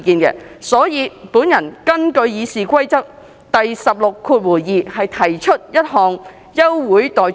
就此，我根據《議事規則》第162條，提出休會待續議案。